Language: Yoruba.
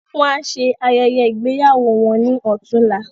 Wọn á ṣe ayẹyẹ ìgbéyàwó wọn ní ọ̀túnla.